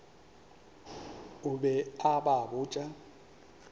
o be a ba botša